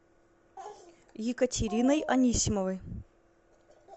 екатериной анисимовой